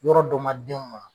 Yɔrɔ dɔ ma den